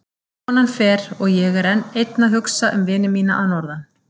Konan fer og ég er einn að hugsa um vini mína að norðan.